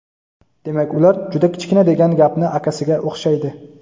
demak ular - juda kichkina degan gapni akasiga o‘xshaydi.